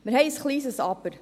Wir haben ein kleines Aber.